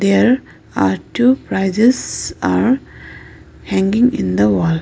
here are two prizes are hanging in the wall.